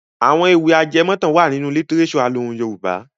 Àwọn ewì ajẹmọ̀tàn wà nínú lítíréṣọ̀ alohùn Yorùbá.